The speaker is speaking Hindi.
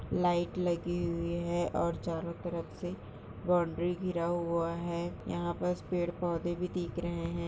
लाइट लगी हुई है और चारों तरफ से बाउंड्री गिरा हुआ है यहाँ पर पेड़ पौधे भी दिख रहे है।